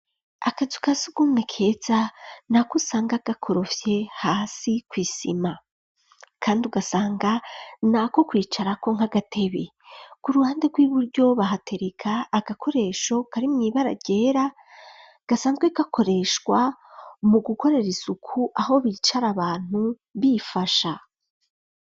Akazu kasugume keza nako usanga gakorofye hasi kw'isima kandi ugasanga nako kwicara ko nk'agatebe ku ruhande rw'iburyo bahatereka agakoresho kari mw'ibara ryera gasanzwe gakoreshwa mu gukorera isuku aho bicara abantu bifasha